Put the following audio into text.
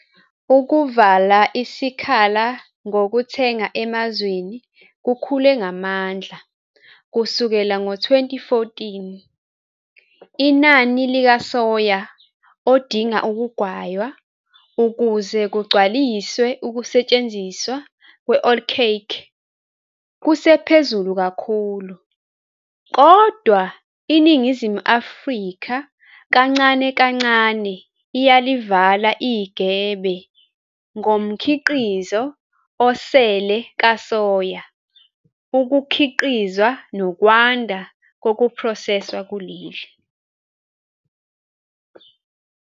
Ukuvala isikhala ngokuthenga emazweni kukhule ngamandla kusukela ngo-2014, inani lokasoya odinga ukugaywa ukuze kugcwaliswe ukusetshenziswa kwe-oilcake kusephezulu kakhulu, kodwa iNingizimu Afrika kancane kancane iyalivala igebe ngomkhiqizo osele kasoya ukukhiqizwa nokwanda kokuphroseswa kuleli.